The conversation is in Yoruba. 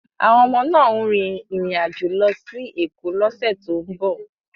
Àwọn ọmọ náà ń rin ìrìn àjò lọ sí Èkó lọ́sẹ̀ tó ń bọ̀